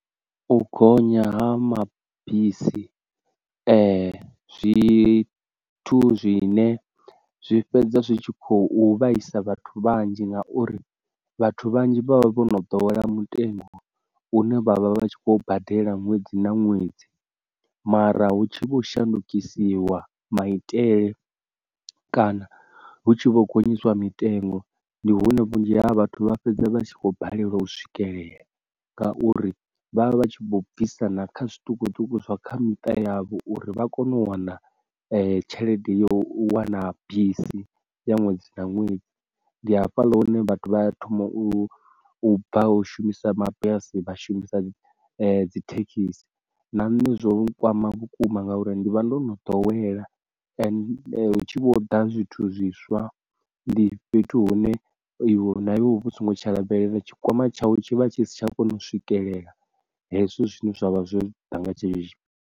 U gonya ha mabisi zwithu zwine zwi fhedza zwi tshi khou vhaisa vhathu vhanzhi ngauri vhathu vhanzhi vha vha vho no dowela mutengo une vha vha vha vha tshi khou badela ṅwedzi na ṅwedzi, mara hutshi vho shandukisiwa maitele kana hu tshi vho gonyisa mitengo ndi hune vhunzhi ha vhathu vha fhedza vha tshi khou balelwa u swikelela ngauri vha vha vha vha tshi bvisa na kha zwiṱukuṱuku zwa kha miṱa yavho uri vha kone u wana tshelede ya u wana bisi ya ṅwedzi na ṅwedzi, ndi hafhaḽa hune vhathu vha thoma u bva u shumisa mabisi vha shumisa dzi thekhisi, na nṋe zwo kwama vhukuma ngauri ndi vha ndo no dowela hu tshi vho ḓa zwithu zwiswa ndi fhethu hune iwe na iwe uvha u songo tsha lavhelela tshikwama tshawe tshi vha tshi si tsha kona u swikelela hezwi zwithu zwine zwavha zwo ḓa nga tshenetshi.